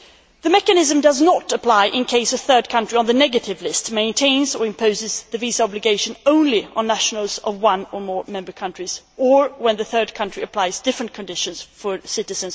The mechanism does not apply in case a third country on the negative list maintains or imposes the visa obligation only on nationals of one or more member countries, or when the third country applies different conditions for citizens of different Member States.